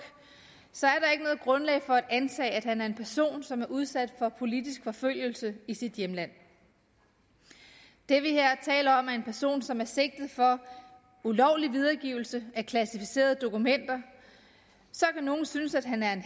er grundlag for at antage at han er en person som er udsat for politisk forfølgelse i sit hjemland det vi her taler om er en person som er sigtet for ulovlig videregivelse af klassificerede dokumenter så kan nogle synes at han er en